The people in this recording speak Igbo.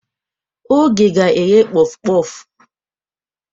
Oge ga-eghe Kpof-kpof.